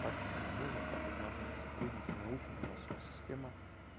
так как нам нужно так как нужно сотрудники научены у нас тут система